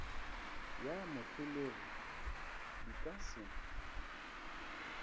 ya moholegi di ka se